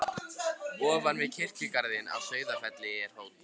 Ofan við kirkjugarðinn á Sauðafelli er hóll.